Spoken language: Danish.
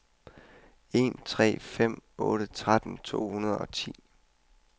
en tre fem otte tretten to hundrede og ti